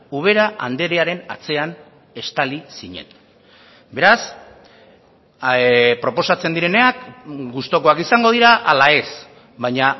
ubera andrearen atzean estali zinen beraz proposatzen direnak gustukoak izango dira ala ez baina